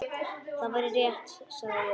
Það væri rétt, sagði ég.